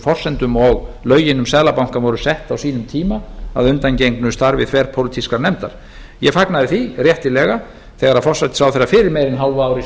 forsendum og lögin um seðlabankann voru sett á sínum tíma að undangengnu starfi þverpólitískrar nefndar ég fagnaði því réttilega þegar að forsætisráðherra fyrir meira en hálfu ári